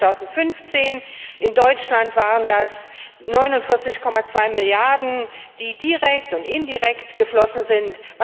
Allein 2015 in Deutschland waren das 49,2 Milliarden, die direkt und indirekt geflossen sind.